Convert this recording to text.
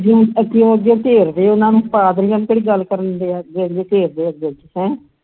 ਅੱਗਿਓਂ ਅੱਗਿਓਂ ਘੇਰਦੇ ਉਨ੍ਹਾਂ ਨੂੰ ਪਾਦਰੀਆਂ ਨੂੰ ਕਿਹੜੀ ਗੱਲ ਕਰਨ ਦਿੰਦੇ ਐ ਗੜ੍ਹੀ ਘੇਰਦੇਆ ਉਨ੍ਹਾਂ ਨੂੰ